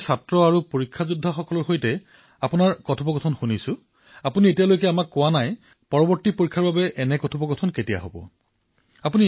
কিন্তু মই শিক্ষাৰ্থী আৰু এগজাম ৱাৰিয়ৰ্ছৰ সৈতে আপোনাৰ কথা সদায়েই শুনো মই আপোনালৈ এইবাবেই লিখিছো কাৰণ আপুনি আমাক এতিয়ালৈ কোৱা নাই যে আগন্তুক পৰীক্ষাৰ বাবে চৰ্চা কেতিয়া হব